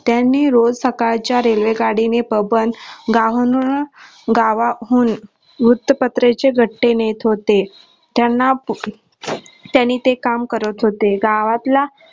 त्यांनी रोज सकाळच्या रेल्वेगाडीने गावाहून वृत्तपत्रे चे घट्टे नेत होते त्यांना त्यांनी ते काम करत होते गावातला